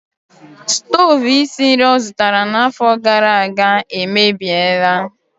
Stovu isi nri ọ zụtara n'afọ gara aga emebiela.